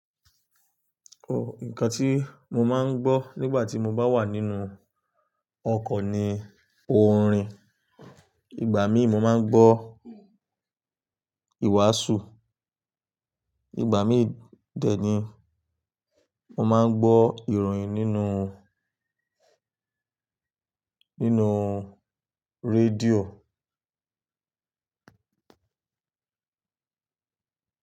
O, ǹkan tí mo máa ń gbọ́ nígbà tí mo bá wà nínú ọkọ̀ ni orin. Ìgbà míì mo máa ń gbọ́ ìwàásù, ìgbà míì dẹ̀ ni mo máa ń gbọ́ ìròyìn nínú, nínú radio.